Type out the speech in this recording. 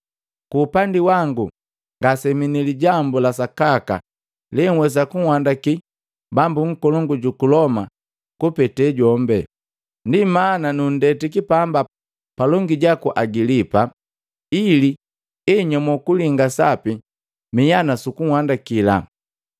Ku upandi wangu ngasemii ni lijambu la sakaka lenhwesa kunhandaki bambu nkolongu juku Loma kupete jombe. Ndi mana nundetiki pamba palongi jaku Agilipa, ili enyomo kulinga sapi miha nusukuandakila.